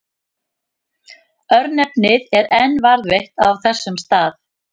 Örnefnið er enn varðveitt á þessum stað.